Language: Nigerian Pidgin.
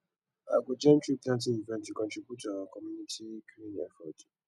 i go join treeplanting events to contribute to our communitys green efforts